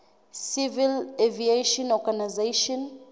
civil aviation organization